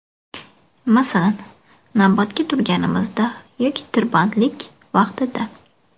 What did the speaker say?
Masalan, navbatga turganingizda yoki tirbandlik vaqtida.